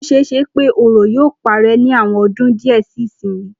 Ó s̩e e s̩e pé òro yóò paré̩ ní àwo̩n o̩dún díè̩ sí ìsinyìí